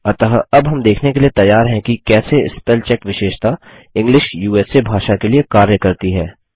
अतः अब हम देखने के लिए तैयार हैं कि कैसे स्पेलचेक विशेषता इंग्लिश उसा भाषा के लिए कार्य करती है